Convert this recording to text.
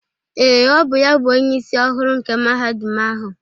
Ee, ọ bụ ya bụ Onyeisi ọhụrụ nke Mahadum ahụ.